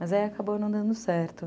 Mas aí acabou não dando certo.